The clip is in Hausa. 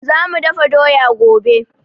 Za mu dafa doya gobe